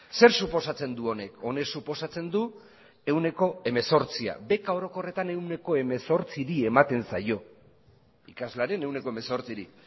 zer suposatzen du honek honek suposatzen du ehuneko hemezortzia beka orokorretan ehuneko hemezortziri ematen zaio ikaslearen ehuneko hemezortziri